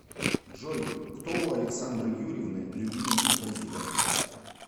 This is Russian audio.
джой кто у александры юрьевны любимый композитор